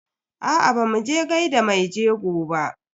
Aa bamu je gaida maijego ba.